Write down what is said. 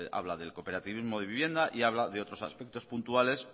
habla del cooperativismo de vivienda y habla de otros aspectos puntuales